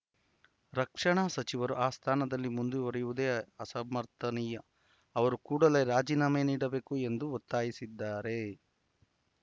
ರಕ್ಷಣಾ ಸಚಿವರು ಆ ಸ್ಥಾನದಲ್ಲಿ ಮುಂದುವರಿಯುವುದೇ ಅಸಮರ್ಥನೀಯ ಅವರು ಕೂಡಲೇ ರಾಜೀನಾಮೆ ನೀಡಬೇಕು ಎಂದು ಒತ್ತಾಯಿಸಿದ್ದಾರೆ